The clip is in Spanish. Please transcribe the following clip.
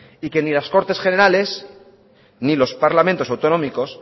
y que ni las cortes generales ni los parlamentos autonómicos